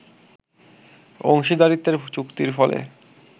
অংশীদারিত্বের চুক্তির ফলে